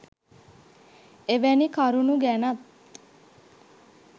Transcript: එවැනි කරුණු ගැනත්